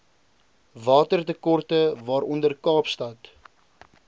watertekorte waaronder kaapstad